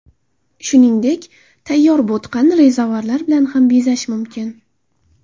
Shuningdek, tayyor bo‘tqani rezavorlar bilan ham bezash mumkin.